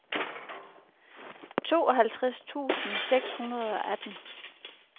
tooghalvtreds tusind seks hundrede og atten